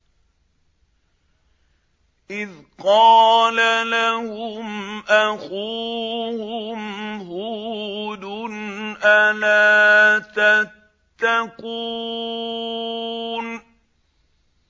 إِذْ قَالَ لَهُمْ أَخُوهُمْ هُودٌ أَلَا تَتَّقُونَ